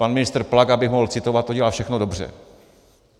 Pan ministr Plaga, by mohl citovat, to dělá všechno dobře.